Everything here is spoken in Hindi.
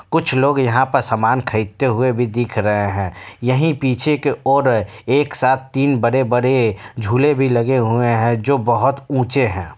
कुछ लोग यहाँ पर समान खरीदते हुए भी दिख रहे हैं यही पीछे की ओर एक सात तीन बड़े-बड़े झूलें भी लगे हुए हैं जो बहोत ऊंचे हैं।